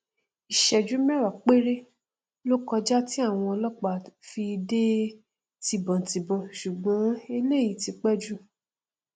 isẹjú mẹwàá péré lo kọjá ti àwọn ọlọpàá fi dé tìbọntìbọn ṣùgbọn eléyìí ti pẹ jù